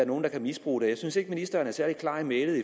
nogen kan misbruge det jeg synes ikke at ministeren er særlig klar i mælet